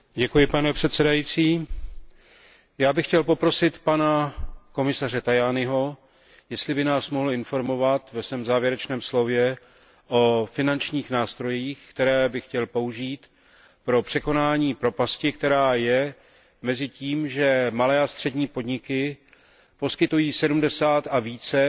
Vážený pane předsedající, já bych chtěl poprosit pana komisaře Tajaniho, jestli by nás mohl informovat ve svém závěrečném slově o finančních nástrojích, které by chtěl použít pro překonání propasti, která je mezi tím, že malé a střední podniky poskytují 70 a více